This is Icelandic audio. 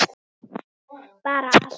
Bara allt.